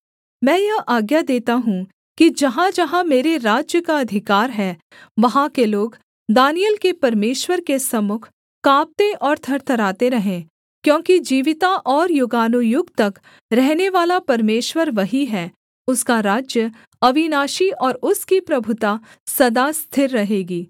मैं यह आज्ञा देता हूँ कि जहाँजहाँ मेरे राज्य का अधिकार है वहाँ के लोग दानिय्येल के परमेश्वर के सम्मुख काँपते और थरथराते रहें क्योंकि जीविता और युगानुयुग तक रहनेवाला परमेश्वर वही है उसका राज्य अविनाशी और उसकी प्रभुता सदा स्थिर रहेगी